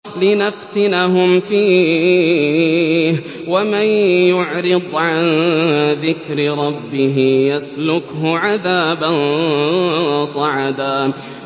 لِّنَفْتِنَهُمْ فِيهِ ۚ وَمَن يُعْرِضْ عَن ذِكْرِ رَبِّهِ يَسْلُكْهُ عَذَابًا صَعَدًا